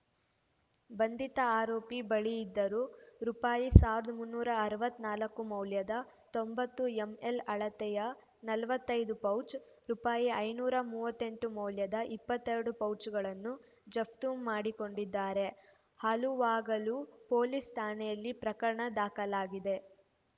ಬಂಧಿತ ಆರೋಪಿ ಬಳಿಯಿದ್ದ ರೂಪಾಯಿ ಸಾವಿರದ ಮುನ್ನೂರ ಅರವತ್ತ್ ನಾಲ್ಕು ಮೌಲ್ಯದ ತೊಂಬತ್ತು ಎಂಎಲ್‌ ಅಳತೆಯ ನಲವತ್ತೈದು ಪೌಚ್‌ ರೂಪಾಯಿ ಐನೂರ ಮೂವತ್ತೆಂಟು ಮೌಲ್ಯದ ಇಪ್ಪತ್ತೆರಡು ಪೌಚ್‌ಗಳನ್ನು ಜಫ್ತು ಮಾಡಿಕೊಂಡಿದ್ದಾರೆ ಹಲುವಾಗಲು ಪೊಲೀಸ್‌ ಠಾಣೆಯಲ್ಲಿ ಪ್ರಕರಣ ದಾಖಲಾಗಿದೆ